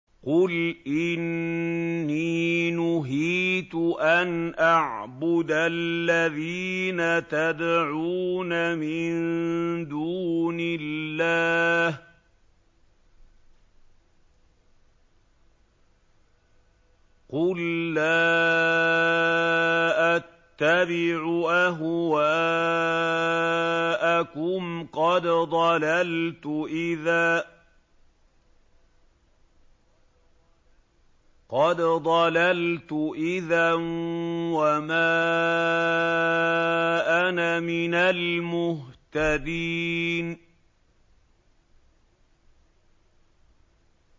قُلْ إِنِّي نُهِيتُ أَنْ أَعْبُدَ الَّذِينَ تَدْعُونَ مِن دُونِ اللَّهِ ۚ قُل لَّا أَتَّبِعُ أَهْوَاءَكُمْ ۙ قَدْ ضَلَلْتُ إِذًا وَمَا أَنَا مِنَ الْمُهْتَدِينَ